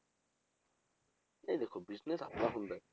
ਨਹੀਂ ਦੇਖੋ business ਆਪਣਾ ਹੁੰਦਾ ਹੈ,